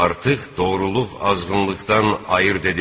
Artıq doğruluq azğınlıqdan ayırd edildi.